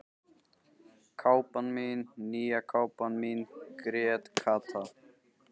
Kápan mín, nýja kápan mín grét Kata.